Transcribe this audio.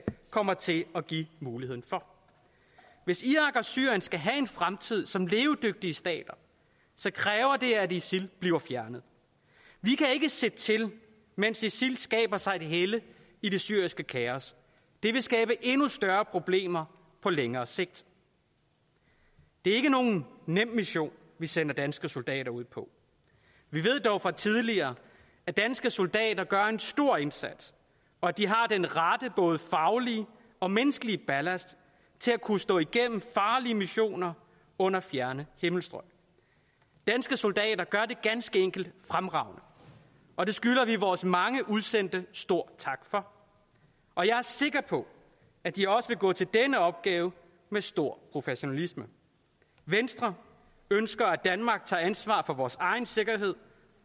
kommer til at give muligheden for hvis irak og syrien skal have en fremtid som levedygtige stater kræver det at isil bliver fjernet vi kan ikke se til mens isil skaber sig et helle i det syriske kaos det vil skabe endnu større problemer på længere sigt det er ikke nogen nem mission vi sender danske soldater ud på vi ved dog fra tidligere at danske soldater gør en stor indsats og at de har den rette både faglige og menneskelige ballast til at kunne stå igennem farlige missioner under fjerne himmelstrøg danske soldater gør det ganske enkelt fremragende og det skylder vi vores mange udsendte stor tak for og jeg er sikker på at de også vil gå til denne opgave med stor professionalisme venstre ønsker at danmark tager ansvar for vores egen sikkerhed